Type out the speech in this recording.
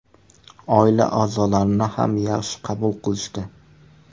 Oila a’zolarimni ham yaxshi qabul qilishdi.